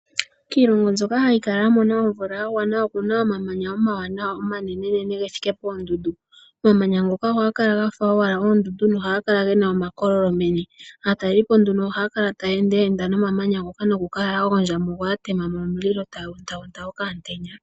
Kiilongo mbyoka hayi kala ya mona omvula ya gwana okuna omamanya omawanawa omanenenene ge thike poondundu. Omamanya ngoka ohaga kala owala gafa oondundu noha ga kala wala gena omakololo meni. Aatalelipo nduno ohaya kala taye endaenda nomamanya ngoka, nokukala ya gondja mugo ya tema omulilo taya otele okamutenya.